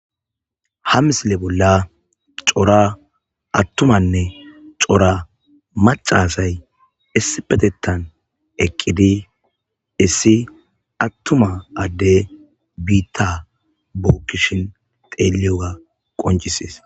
ha misile bolla cora attumanne cora macasay issipetettan eqqidi issi attuma adde biitta bookkishin xeliyoga qoncises